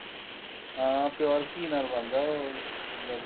ਹਾਂ pure ਘੀ ਨਾਲ ਬਣਦਾ ਉਹ ਮਤਲਬ